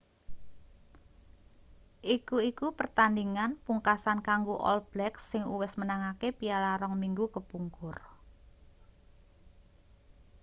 iki iku pertandhingan pungkasan kanggo all blacks sing uwis menangake piala rong minggu kepungkur